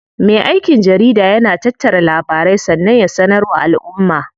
Me aikin jarida yana tattara labarai sannan ya sanar wa alʼumma.